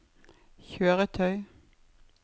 kjøretøy